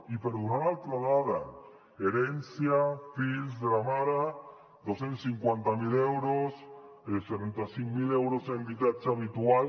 i per donar una altra dada herència fills de la mare dos cents i cinquanta miler euros setanta cinc mil euros en habitatge habitual